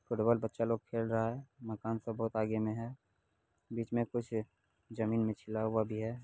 Football बच्चा लोग खेल रहा है। मकान सब बहुत आगे में है। बीच में कुछ जमीन में छिला हुआ भी है।